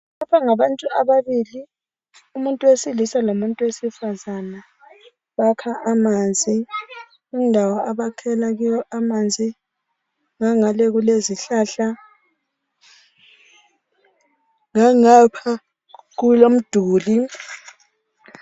lapha ngabantu ababili umuntu wesilisa lomuntu wesifazana bakha amanzi indawo abakhela kiyo amanzi ngangale kulezihlahla ngangapha kulomduli